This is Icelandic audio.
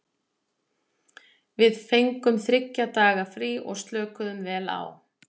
Við fengum þriggja daga frí og slökuðum vel á.